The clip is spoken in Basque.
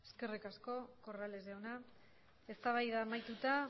eskerrik asko corrales andrea eztabaida amaituta